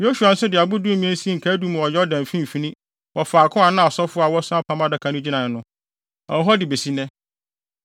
Yosua nso de abo dumien sii nkaedum wɔ Yordan mfimfini wɔ faako a na asɔfo a wɔso apam Adaka no gyinae no. Ɛwɔ hɔ de besi nnɛ.